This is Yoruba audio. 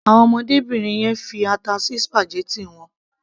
Àwọn ọmọdébìnrin yẹn fi ata sí spaghetti wọn.